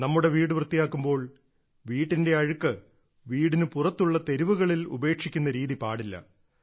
നമ്മുടെ വീട് വൃത്തിയാക്കുമ്പോൾ വീടിന്റെ അഴുക്ക് വീടിന് പുറത്തുള്ള തെരുവുകളിൽ ഉപേക്ഷിക്കുന്ന രീതി പാടില്ല